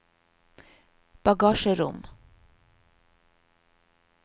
bagasjerom